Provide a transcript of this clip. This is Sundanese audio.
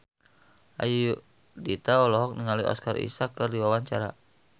Ayudhita olohok ningali Oscar Isaac keur diwawancara